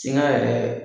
Siɲa yɛrɛ